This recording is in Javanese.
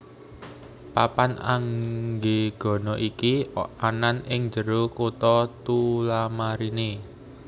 Papan Anggegana iki anan ing jero kota Tullamarine